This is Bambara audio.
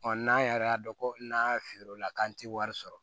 n'an yɛrɛ y'a dɔn ko n'a feere o la k'an ti wari sɔrɔ